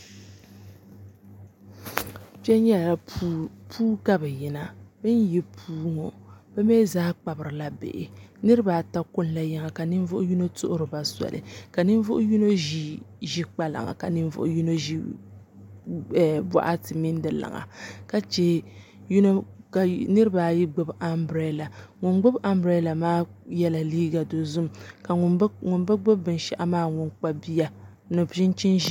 Kpɛ nyɛla puu puu ka bi yina bin yi puu ŋɔ bi mii zaa kpabirila bihi niraba ata kunila yiŋa ka ninvuɣu yino tuhuriba soli ka ninvuɣu yino ʒi kpalaŋa ka ninvuɣu yino ʒi boɣati mini di liŋa ka chɛ ka niraba ayi gbubi anbirɛla ŋun gbubi anbirɛla maa yɛla liiga dozim ka ŋun bi gbubi maa mii kpabi bia ni chinchin ʒiɛ